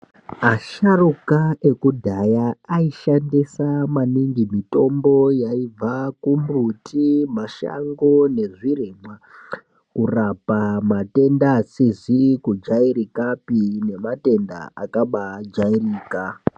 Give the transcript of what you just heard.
Asharuka ekudhaya aishandisa maningi mitombo yaibva kumbuti, mashango nezvirimwa kurapa matenda asizi kujairikapi nematenda akabaajairika.